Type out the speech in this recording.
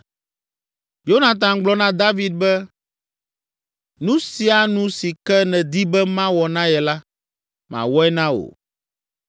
Yonatan gblɔ na David be, “Nu sia nu si ke nedi be mawɔ na ye la, mawɔe na wò.”